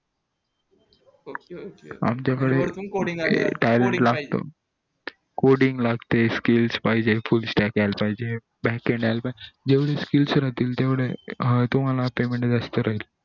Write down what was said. आमच्या कडे लागत coding लागत skills पाहिजे full stack यायला पाहिजे जेवढे skills राहतील तेवढे तुम्हला payment जास्त भेटेल